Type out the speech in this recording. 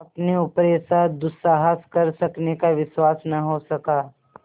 अपने ऊपर ऐसा दुस्साहस कर सकने का विश्वास न हो सका